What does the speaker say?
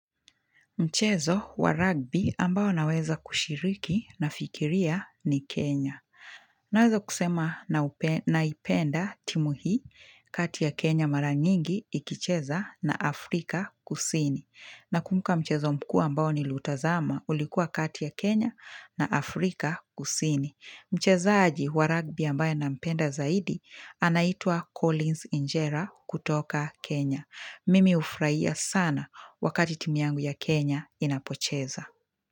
Mchezo wa rugby ambao naweza kushiriki nafikiria ni Kenya. Naweza kusema naipenda timu hii kati ya Kenya mara nyingi ikicheza na Afrika kusini. Nakumbuka mchezo mkuu ambao niliutazama ulikuwa kati ya Kenya na Afrika kusini. Mchezaji wa rugby ambaye nampenda zaidi anaitwa Collins Injera kutoka Kenya. Mimi hufurahia sana wakati timu yangu ya Kenya inapocheza.